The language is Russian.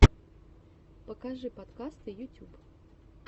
покажи подкасты ютюб